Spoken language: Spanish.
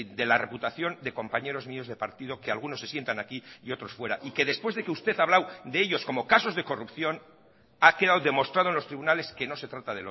de la reputación de compañeros míos de partido que algunos se sientan aquí y otros fuera y que después de que usted ha hablado de ellos como casos de corrupción ha quedado demostrado en los tribunales que no se trata